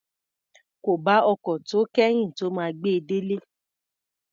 Kò bá ọkọ̀ tó kẹ́yìn tó máa gbe délé.